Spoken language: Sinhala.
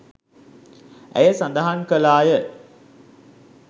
ඇය සදහන් කළාය.